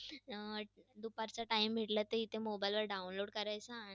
अं दुपारचा time भेटला, तर mobile वर download करायचा